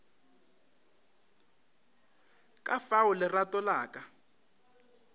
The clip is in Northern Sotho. ka fao lerato la ka